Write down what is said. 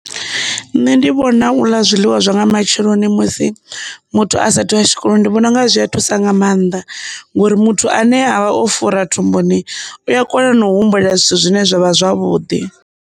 Nṋe ndi vhona u ḽa zwiḽiwa zwa nga matsheloni musi muthu a sathu wa tshikoloni ndi vhona unga zwi a thusa nga maanḓa ngori muthu ane avha o fura thumbuni u a kona na u humbula zwithu zwine zwavha zwavhuḓi.